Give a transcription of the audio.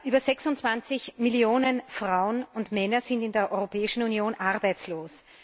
Über 26Millionen Frauen und Männer sind in der Europäischen Union arbeitslos.